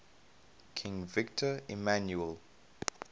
king victor emmanuel